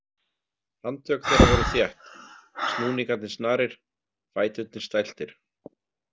Handtök þeirra voru þétt, snúningarnir snarir, fæturnir stæltir.